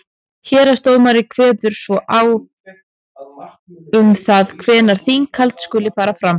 héraðsdómari kveður svo á um það hvenær þinghald skuli fara fram